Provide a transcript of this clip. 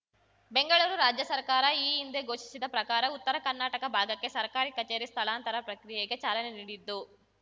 ಬೆಂಗಳೂರು ರಾಜ್ಯ ಸರ್ಕಾರ ಈ ಹಿಂದೆ ಘೋಷಿಸಿದ ಪ್ರಕಾರ ಉತ್ತರ ಕರ್ನಾಟಕ ಭಾಗಕ್ಕೆ ಸರ್ಕಾರಿ ಕಚೇರಿ ಸ್ಥಳಾಂತರ ಪ್ರಕ್ರಿಯೆಗೆ ಚಾಲನೆ ನೀಡಿದ್ದು